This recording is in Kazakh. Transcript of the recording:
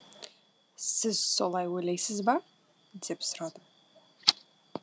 сіз солай ойлайсыз ба деп сұрадым